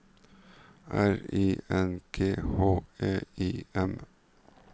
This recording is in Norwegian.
R I N G H E I M